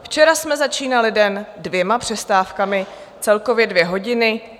Včera jsme začínali den dvěma přestávkami, celkově dvě hodiny.